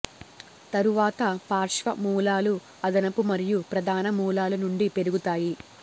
తరువాత పార్శ్వ మూలాలు అదనపు మరియు ప్రధాన మూలాలు నుండి పెరుగుతాయి